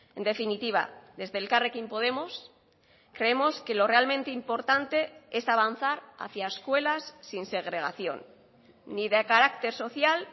en definitiva desde elkarrekin podemos creemos que lo realmente importante es avanzar hacia escuelas sin segregación ni de carácter social